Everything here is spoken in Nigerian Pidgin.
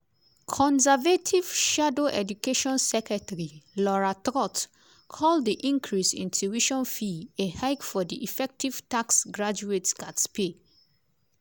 conservative shadow education secretary laura trott call di increase in tuition fee “a hike for di effective tax graduates gatz pay”.